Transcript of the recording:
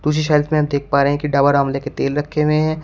कुछ शेल्फ में आप देख पा रहे हैं कि डाबर आंवले के तेल रखे हुए हैं।